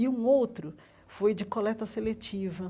E um outro foi de coleta seletiva.